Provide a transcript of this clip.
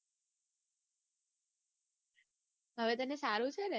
હવે તને સારું છે?